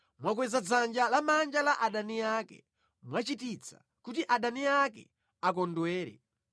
Mwakweza dzanja lamanja la adani ake; mwachititsa kuti adani ake akondwere.